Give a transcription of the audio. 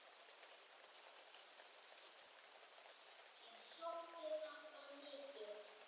Og ég sótti þangað mikið.